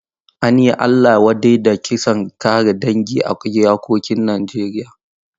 An yi Allah wadai da kisan kare dangi a iyakokin Najeriya.